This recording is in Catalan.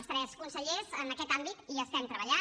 els tres consellers en aquest àmbit hi estem treballant